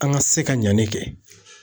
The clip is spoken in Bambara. An ka se ka ɲɛni kɛ